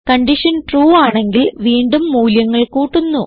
condition true ആണെങ്കിൽ വീണ്ടും മൂല്യങ്ങൾ കൂട്ടുന്നു